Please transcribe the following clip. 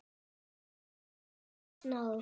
Málari af guðs náð.